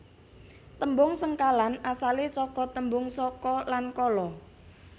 Tembung sengkalan asalé saka tembung saka lan kala